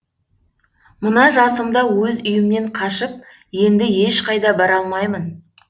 мына жасымда өз үйімнен қашып енді ешқайда бара алмаймын